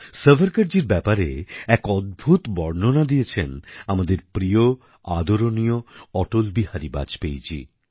সাভারকরজীর ব্যাপারে এক অদ্ভূত বর্ণনা দিয়েছেন আমাদের প্রিয় আদরণীয় অটল বিহারী বাজপেয়ীজী